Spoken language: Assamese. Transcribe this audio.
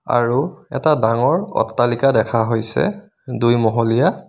আৰু এটা ডাঙৰ অট্টালিকা দেখা হৈছে দুইমহলীয়া.